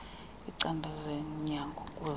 kwicandelo lezonyango kuza